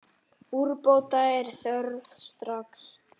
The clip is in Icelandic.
Úrbóta er þörf strax.